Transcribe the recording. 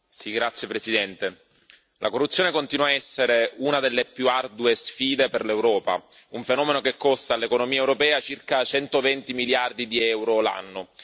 Signora Presidente, onorevoli colleghi, la corruzione continua a essere una delle più ardue sfide per l'Europa, un fenomeno che costa all'economia europea circa 120 miliardi di euro l'anno.